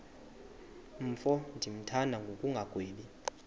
mfo ndimthanda ngokungagwebi